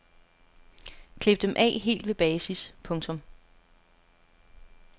Klip dem af helt ved basis. punktum